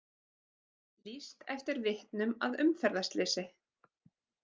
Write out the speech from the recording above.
Lýst eftir vitnum að umferðarslysi